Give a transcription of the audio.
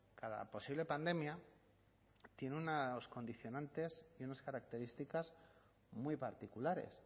cada posible pandemia tiene unos condicionantes y unas características muy particulares